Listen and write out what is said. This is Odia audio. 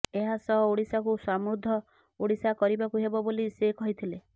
ଏହାସହ ଓଡିଶାକୁ ସମୃଦ୍ଧ ଓଡିଶା କରିବାକୁ ହେବ ବୋଲି ସେ କହିଥିଲେ